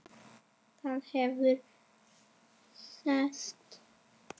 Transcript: Það hefur ræst.